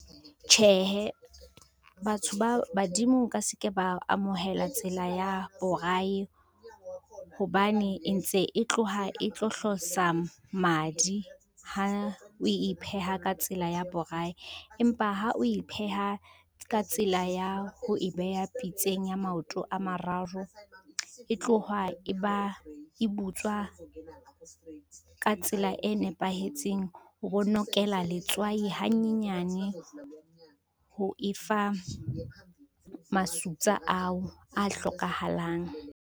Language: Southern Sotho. Tjhehe, batho ba badimo o ka se ke ba amohela tsela ya boraye, hobane e ntse e tloha e tlo hlosa madi ha o e pheha ka tsela ya boraye, empa ha o e pheha ka tsela ya ho e beha pitseng ya maoto a mararo, e tloha e butswa, ka tsela e nepahetseng o bo nokela letswai hanyenyane ho e fa masutsa ao a hlokahalang.